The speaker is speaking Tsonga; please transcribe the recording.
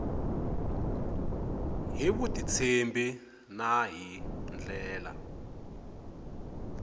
hi vutitshembi na hi ndlela